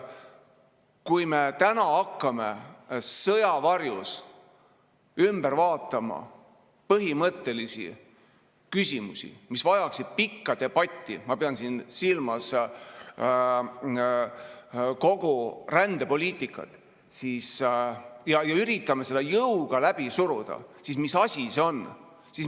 Kui me täna hakkame sõja varjus ümber vaatama põhimõttelisi küsimusi, mis vajaksid pikka debatti – ma pean siin silmas kogu rändepoliitikat –, ja üritame seda jõuga läbi suruda, siis mis asi see on?